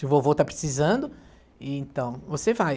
Se o vovô está precisando, então você vai.